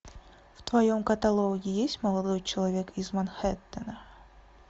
в твоем каталоге есть молодой человек из манхэттена